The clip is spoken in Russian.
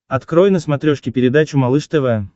открой на смотрешке передачу малыш тв